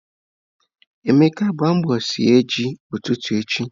Emeka, gbaa mbọ sie ji ututu echi.